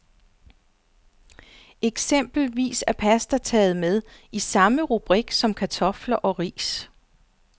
Eksempelvis er pasta taget med, i samme rubrik som kartofler og ris.